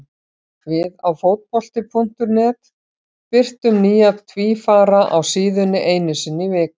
Við á Fótbolti.net birtum nýja tvífara á síðunni einu sinni í viku.